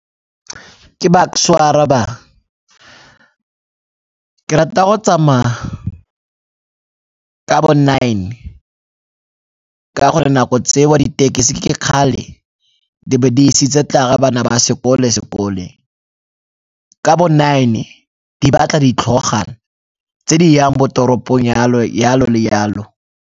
Ke Bucks-e o a arabang, ke rata go tsamaya ka bo nine ka gore nako tseo ditekesi ke kgale di be di isitse bana ba sekole sekoleng. Ka bo nine di batla ditlhogwana tse di yang bo toropong yalo, yalo le yalo.